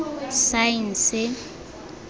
saense